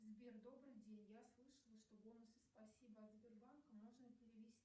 сбер добрый день я слышала что бонусы спасибо от сбербанка можно перевести